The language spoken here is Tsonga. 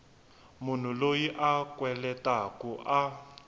munhu loyi a kweletaku a